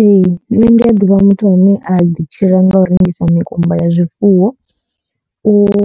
Ee nṋe ndi a ḓivha muthu ane a ḓi tshila nga u rengisa mikumba ya zwifuwo uri